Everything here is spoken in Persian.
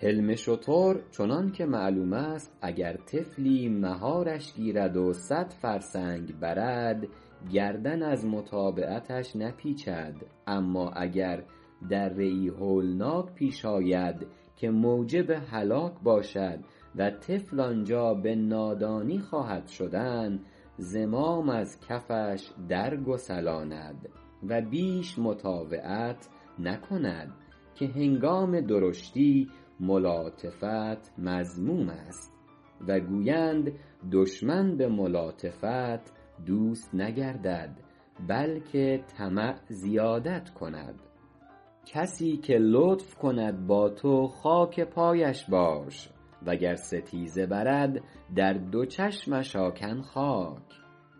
حلم شتر چنان که معلوم است اگر طفلی مهارش گیرد و صد فرسنگ برد گردن از متابعتش نپیچد اما اگر دره ای هولناک پیش آید که موجب هلاک باشد و طفل آنجا به نادانی خواهد شدن زمام از کفش در گسلاند و بیش مطاوعت نکند که هنگام درشتی ملاطفت مذموم است و گویند دشمن به ملاطفت دوست نگردد بلکه طمع زیادت کند کسی که لطف کند با تو خاک پایش باش وگر ستیزه برد در دو چشمش آکن خاک